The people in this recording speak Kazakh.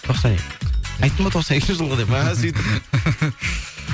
тоқсан екі айттым ғой тоқсан екінші жылғы деп мә сөйтіп